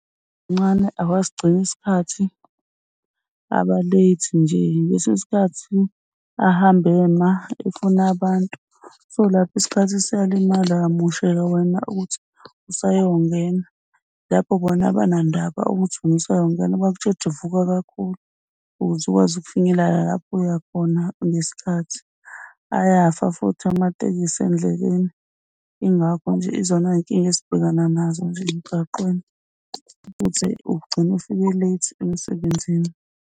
awasigcini isikhathi aba-late nje ngesinye isikhathi ahamba ema efuna abantu. So, lapho isikhathi siyalimala, uyamosheka wena obuthi usayongena. Lapho bona abanandaba ukuthi wena usayongena bakutshela ukuthi vuka kakhulu ukuze ukwazi ukufinyelela lapho oyakhona ngesikhathi. Ayafa futhi amatekisi endleleni. Yingakho nje izona y'nkinga esibhekana nazo zonke nje emgwaqeni ukuthi ugcine ufike late emsebenzini.